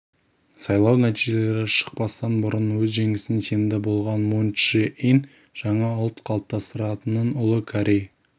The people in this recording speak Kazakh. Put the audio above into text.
сайлау нәтижелері шықпастан бұрын өз жеңісіне сенімді болған мун чжэ ин жаңа ұлт қалыптастыратынын ұлы корей